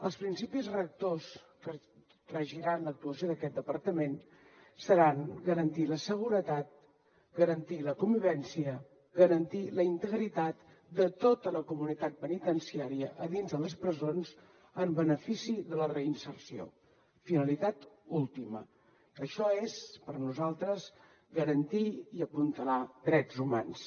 els principis rectors que regiran l’actuació d’aquest departament seran garantir la seguretat garantir la convivència i garantir la integritat de tota la comunitat penitenciària a dins de les presons en benefici de la reinserció finalitat última això és per nosaltres garantir i apuntalar drets humans